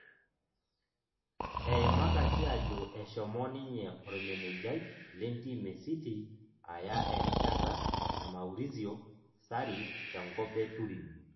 Eimakaki ajo eshomo ninye ormenejai lenteam e City aya erishata e Maurizio sarri tenkop e Turin